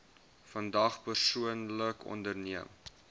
vandag persoonlik onderneem